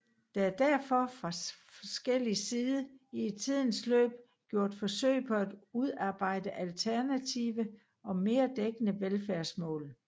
Der er derfor fra forskellig side i tidens løb gjort forsøg på at udarbejde alternative og mere dækkende velfærdsmål